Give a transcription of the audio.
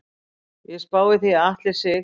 Ég spái því að Atli Sig.